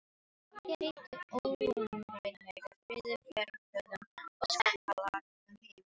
Hér ríkti óumræðilegur friður fjarri kvöðum og skarkala umheimsins.